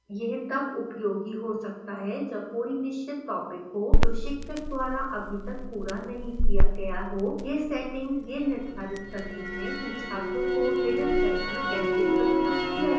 यह तब उपयोगी हो सकता है जब कोई निश्चित topic हो जो शिक्षक द्वारा अभी तक पूरा नहीं किया गया हो यह सेटिंग यह निर्धारित करती है कि छात्रों को hidden sections कैसे प्रस्तुत किया जाए